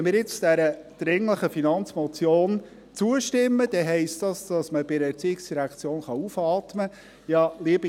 Wenn wir jetzt dieser dringlichen Finanzmotion zustimmen, heisst dies, dass man bei der ERZ aufatmen kann.